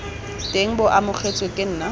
teng bo amogetswe ke nna